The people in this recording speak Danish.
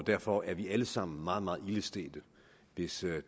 derfor er vi alle sammen meget meget ilde stedt hvis